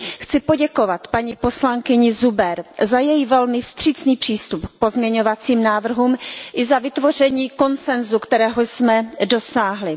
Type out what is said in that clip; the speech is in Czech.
Chci poděkovat paní poslankyni Zuber za její velmi vstřícný přístup k pozměňovacím návrhům i za vytvoření konsensu, kterého jsme dosáhli.